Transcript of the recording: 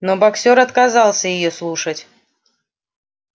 но боксёр отказался её слушать